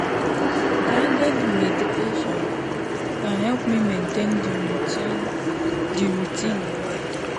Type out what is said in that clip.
guided meditation dey help me maintain the routine the routine well.